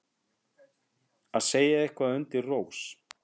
Að segja eitthvað undir rós